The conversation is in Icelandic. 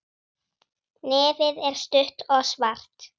Nefið er stutt og svart.